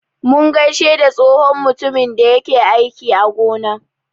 Mun gaishe da tsohon mutumin da yake aiki a gona.